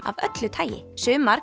af öllu tagi sumar